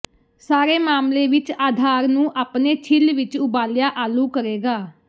ਸਾਰੇ ਮਾਮਲੇ ਵਿੱਚ ਆਧਾਰ ਨੂੰ ਆਪਣੇ ਛਿੱਲ ਵਿਚ ਉਬਾਲਿਆ ਆਲੂ ਕਰੇਗਾ